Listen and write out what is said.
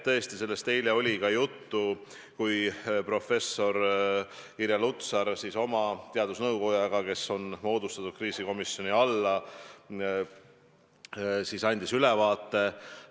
Tõesti, sellest oli ka eile juttu, kui professor Irja Lutsar andis oma teadusnõukojaga, kes on moodustatud kriisikomisjoni juures, olukorrast ülevaate.